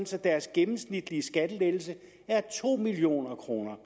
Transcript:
så deres gennemsnitlige skattelettelse er to million kroner